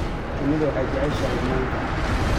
Shinnidu waxay jeceshahay manka